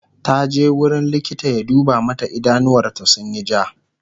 taje wurin likita ya duba mata idanuwar ta sunyi ja